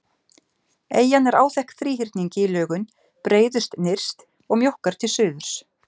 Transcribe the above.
Eyjan er áþekk þríhyrningi í lögun, breiðust nyrst og mjókkar til suðurs.